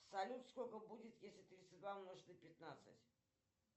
салют сколько будет если тридцать два умножить на пятнадцать